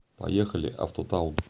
поехали автотаун